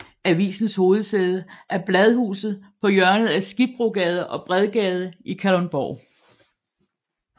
Avisens hovedsæde er bladhuset på hjørnet af Skibbrogade og Bredgade i Kalundborg